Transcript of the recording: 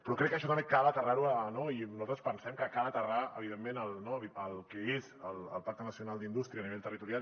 però crec que això també cal aterrar ho no i nosaltres pensem que cal aterrar evidentment el que és el pacte nacional per a la indústria a nivell territorial